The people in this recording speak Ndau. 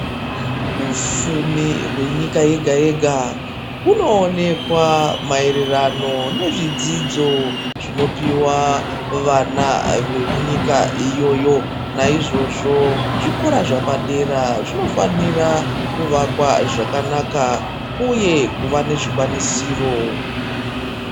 Upfumi hwenyika yega yega hunoonekwa maererano nezvidzidzo zvinopiwa vana vemunyika iyoyo. Naizvozvo zvikora zvepadera zvinofanira kuvakwa zvakanaka, uye kuva nezvikwanisiro.